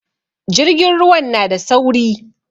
Jirgin ruwan na da sauri